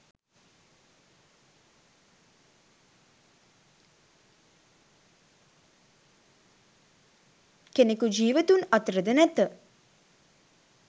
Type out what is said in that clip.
කෙනෙකු ජීවතුන් අතර ද නැත.